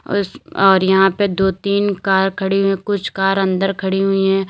और इस और यहां पर दो तीन कार खड़ी हुई हैं कुछ कार अंदर खड़ी हुई हैं।